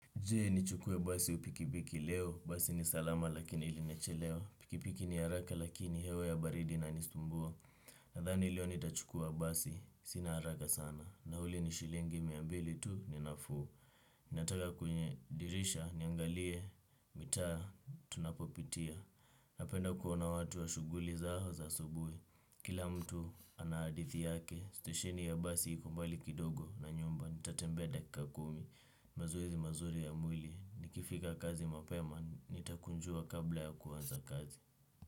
Jee ni chukue basi au pikipiki leo, basi ni salama lakini iliniacha leo. Pikipiki ni haraka lakini hewa ya baridi inanisumbua. Nadhani leo ni tachukua basi, sina haraka sana. Na huli ni shilingi miambili tu ni nafu. Nataka kwenye dirisha niangalie mitaa tunapopitia. Napenda kuona watu wa shuguli zao za asubui. Kila mtu ana hadithi yake, stesheni ya basi iko mbali kidogo na nyumba. Nitatembea dakika kumi. Mazoezi mazuri ya mwili. Nikifika kazi mapema nitakunjua kabla ya kuanza kazi.